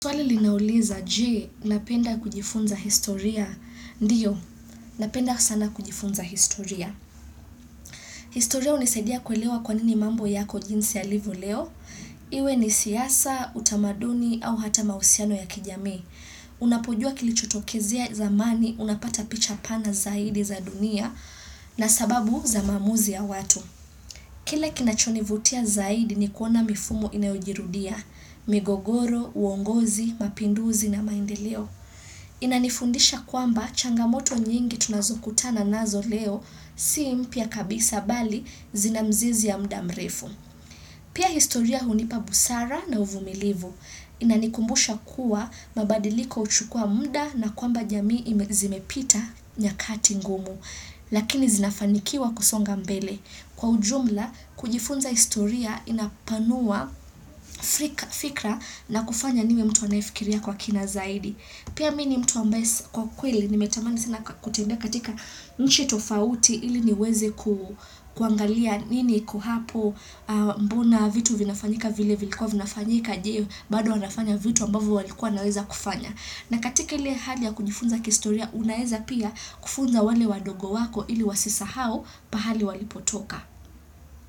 Swali linauliza, je, napenda kujifunza historia? Ndiyo, napenda sana kujifunza historia. Historia hunisaidia kuelewa kwa nini mambo yako jinsi yalivyo leo. Iwe ni siasa, utamaduni, au hata mahusiano ya kijamii. Unapojua kilichotokezea zamani, unapata picha pana zaidi za dunia, na sababu za maamuzi ya watu. Kile kinachonivutia zaidi ni kuona mifumo inayojirudia, migogoro, uongozi, mapinduzi na maendeleo. Inanifundisha kwamba changamoto nyingi tunazokutana nazo leo, si mpya kabisa bali zina mzizi ya mudamrefu. Pia historia hunipa busara na uvumilivu. Inanikumbusha kuwa mabadiliko huchukua muda na kwamba jamii zimepita nyakati ngumu. Lakini zinafanikiwa kusonga mbele Kwa ujumla, kujifunza historia inapanua fikra na kufanya nime mtu anayefikiria kwa kina zaidi. Pia mi ni mtu ambaye kwa kweli, nimetamani sana kutembea katika nchi tofauti ili niweze kuangalia nini iko hapo mbona vitu vinafanyika vile vilikua vinafanyika je, bado wanafanya vitu ambavyo walikuwa waweza kufanya? Na katika ile hali ya kujifunza kihistoria unaeza pia kufunza wale wadogo wako ili wasisahau pahali walipotoka.